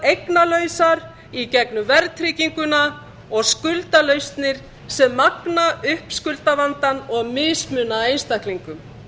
eignalausar í gegnum verðtrygginguna og skuldalausnir sem magna upp skuldavandann og mismuna einstaklingum